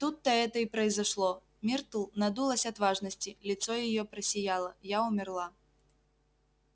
тут-то это и произошло миртл надулась от важности лицо её просияло я умерла